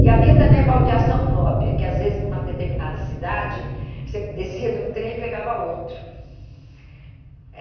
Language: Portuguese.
E havia também a baldeação própria, que às vezes, numa determinada cidade, você descia de um trem e pegava outro. Eh